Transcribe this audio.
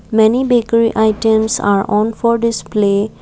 many bakery items are on for display.